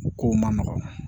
Kow man nɔgɔn